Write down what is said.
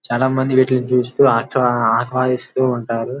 చాలా మంది వీటిని చూస్తూ ఆచవా-ఆస్వాదిస్తూ ఉంటారు.